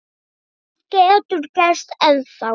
Allt getur gerst ennþá.